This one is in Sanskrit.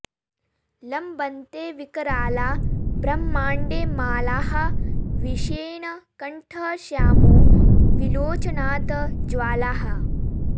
लम्बन्ते विकराला ब्रह्माण्डे मालाः विषेण कण्ठः श्यामो विलोचनात् ज्वालाः